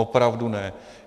Opravdu ne.